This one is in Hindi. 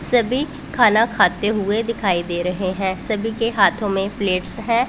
सभी खाना खाते हुए दिखाई दे रहे हैं सभी के हाथों में प्लेट्स है।